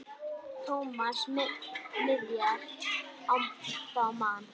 Thomas miðaði þá á magann.